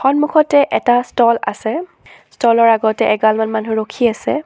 সন্মুখতে এটা ষ্টল আছে ষ্টল ৰ আগতে এগালমান মানুহ ৰখি আছে।